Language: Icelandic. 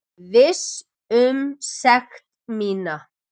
Viss um sekt mína.